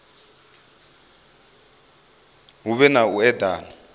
hu vhe na u edana